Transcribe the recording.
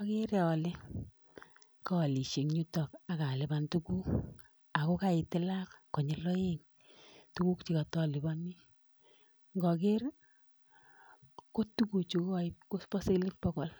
Agere ale kaalisie eng yuto ak alipan tugul ago kaitilan konyil aeng tuguk che katalipani. Ngager ii kotuguchu koba senteinik bogol